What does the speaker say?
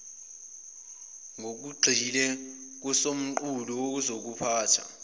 ngokugxile kusomqulu wokuziphatha